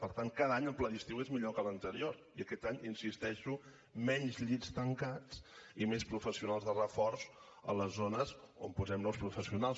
per tant cada any el pla d’estiu és millor que l’anterior i aquest any hi insisteixo menys llits tancats i més professionals de reforç a les zones on posem nous professionals